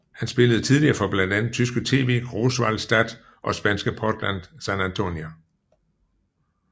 Han spillede tidligere for blandt andet tyske TV Großwallstadt og spanske Portland San Antonio